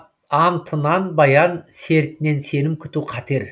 антынан баян сертінен сенім күту қатер